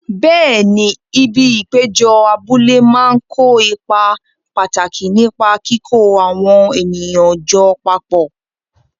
Bẹẹ̀ni, ibi ìpéjọ abúlé máa ń kó ipa pàtàkì nípa kíkó àwọn ènìyàn jọ papọ̀.